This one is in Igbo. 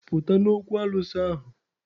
Pụta n'okwu alụsị ahụ!